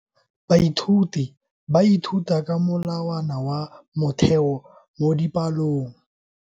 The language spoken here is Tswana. Baithuti ba ithuta ka molawana wa motheo mo dipalong.